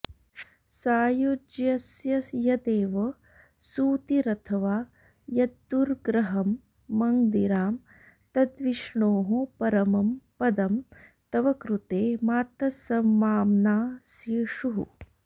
सायुज्यस्य यदेव सूतिरथवा यद्दुर्ग्रहं मद्गिरां तद्विष्णोः परमं पदं तव कृते मातस्समाम्नासिषुः